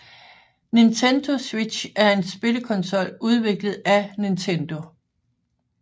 Nintendo Switch er en spillekonsol udviklet af Nintendo